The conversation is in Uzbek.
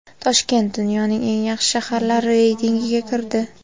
Toshkent dunyoning eng yaxshi shaharlari reytingiga kirdi.